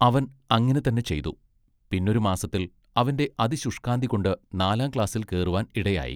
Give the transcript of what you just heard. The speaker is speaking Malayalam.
അവൻ അങ്ങിനെ തന്നെ ചെയ്തു. പിന്നൊരു മാസത്തിൽ അവന്റെ അതിശുഷ്കാന്തികൊണ്ട് നാലാം ക്ലാസ്സിൽ കേറുവാൻ ഇടയായി.